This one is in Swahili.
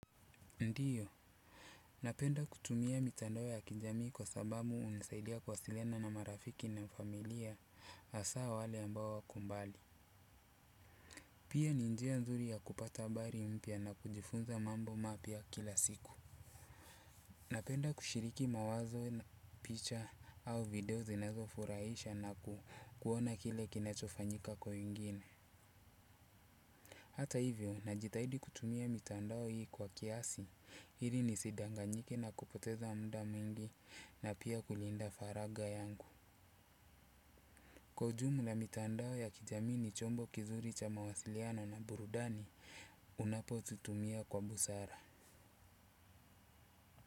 Ndiyo, napenda kutumia mitandao ya kijamii kwa sababu hunisaidia kuwasiliana na marafiki na familia hasaa wale ambao wako mbali. Pia ni njia nzuri ya kupata habari mpya na kujifunza mambo mapya kila siku. Napenda kushiriki mawazo picha au video zinazofurahisha na kuona kile kinachofanyika kwa wengine. Hata hivyo najitahidi kutumia mitandao hii kwa kiasi, ili nisidanganyike na kupoteza muda mwingi na pia kulinda faraga yangu. Kwa ujumla mitandao ya kijamii ni chombo kizuri cha mawasiliano na burudani unapozitumia kwa busara.